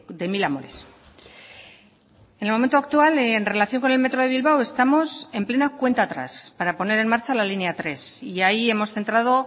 de mil amores en el momento actual en relación con el metro de bilbao estamos en plena cuenta atrás para poner en marcha la línea tres y ahí hemos centrado